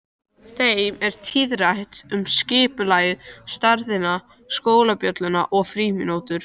Þeim er tíðrætt um skipulagið, stærðina, skólabjölluna og frímínútur.